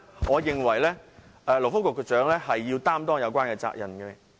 我認為勞工及福利局局長必須負上相關責任。